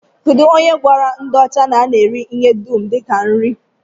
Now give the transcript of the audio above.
Kedụ onye gwara ndị ọcha na a na-eri ihe dum dịka nri?